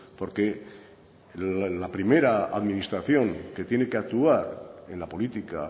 porque la primera administración que tiene que actuar en la política